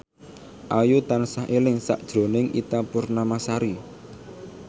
Ayu tansah eling sakjroning Ita Purnamasari